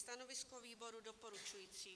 Stanovisko výboru: doporučující.